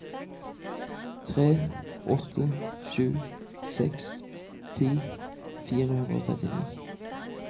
tre åtte sju seks ti fire hundre og trettini